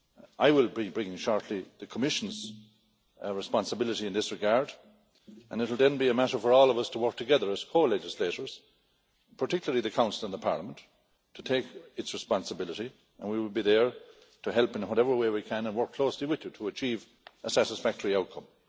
I will be bringing shortly the Commission's responsibility in this regard and it will then be a matter for all of us to work together as co legislators, particularly the Council and the Parliament, to take responsibility and we will be there to help in whatever way we can work closely with you to achieve a satisfactory outcome.